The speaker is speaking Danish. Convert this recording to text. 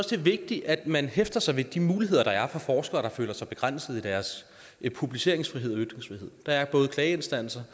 det er vigtigt at man hæfter sig ved de muligheder der er for forskere der føler sig begrænset i deres publiceringsfrihed og ytringsfrihed der er klageinstanser